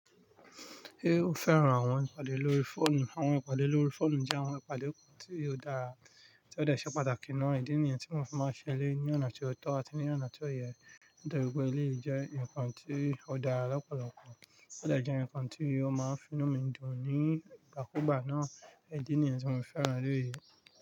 Ṣé o féràn àwon ìpàdé lórí fóònù? Àwon ìpàdé lórí fóònù jẹ àwon ìpàdé tí ó dáa tí ó dẹ̀ ṣe pàtàkì náà. Ìdí nìyẹn tí mo fi máa ń ṣe léyìí ní ọ̀nà tí ó tọ́ àti ní ọ̀nà tí ó yẹ. Nítorí pé èléyìí jẹ́ ǹkan tí ó dára lọ́pọ̀lọpọ̀, ó dẹ̀ jẹ ǹkan tí ó máa ń finú mi dùn nígbàkúgbà náà. Ìdí nìyẹn tí mo fi fẹ́ràn èléyìí.